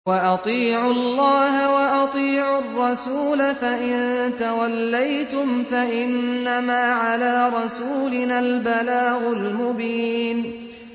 وَأَطِيعُوا اللَّهَ وَأَطِيعُوا الرَّسُولَ ۚ فَإِن تَوَلَّيْتُمْ فَإِنَّمَا عَلَىٰ رَسُولِنَا الْبَلَاغُ الْمُبِينُ